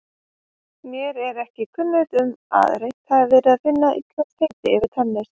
Mér er ekki kunnugt um að reynt hafi verið að finna íslenskt heiti fyrir tennis.